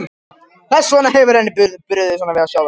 Þess vegna hefur henni brugðið svona við að sjá þær.